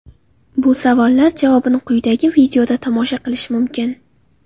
Bu savollar javobini quyidagi videoda tomosha qilish mumkin.